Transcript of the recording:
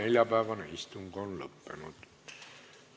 Neljapäevane istung on lõppenud.